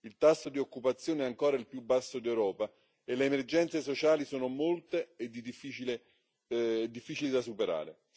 Il tasso di occupazione è ancora il più basso d'Europa e le emergenze sociali sono molte e difficili da superare.